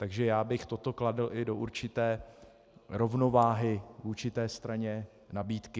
Takže já bych toto kladl i do určité rovnováhy vůči té straně nabídky.